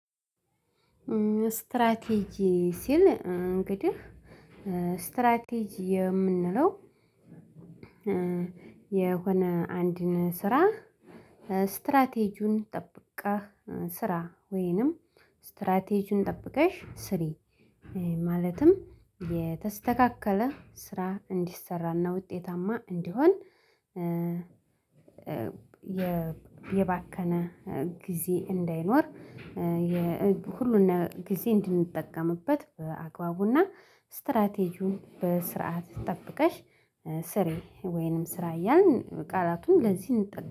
ስትራቴጂ ሲል እንግዲህ ስትራቴጂ የምንለው የሆነ አንድን ስራ ስትራቴጁን ጠብቀህ ስራ ወይንም ስትራቴጁን ጠብቀሽ ስሪ ማለትም የተስተካከለ ስራ እንዲሰራና ውጤታማ እንዲሆን። የባከነ ጊዜ እንዳይኖር። ሁሉንም ጊዜ እንድንጠቀምበት በአግባቡና ስትራቴጂውን በስርዓት ጠብቀሽ ስሬ ወይንም ስራ እያልን ቃላቱን ለዚህ እንጠብቃለን